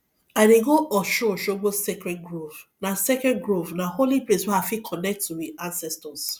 i dey go osunosogbo sacredd grove na sacredd grove na holy place wey i fit connect to we ancestors